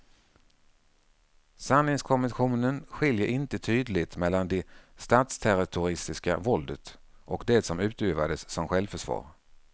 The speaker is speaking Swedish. Sanningskommissionen skiljer inte tydligt mellan det statsterroristiska våldet och det som utövades som självförsvar.